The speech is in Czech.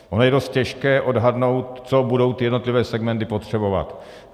Ono je dost těžké odhadnout, co budou ty jednotlivé segmenty potřebovat.